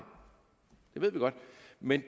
ved vi godt men